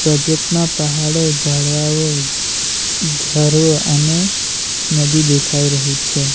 Project માં પહાડો ઝાડવાઓ ઘ્ ઘરો અને નદી દેખાઈ રહી છે.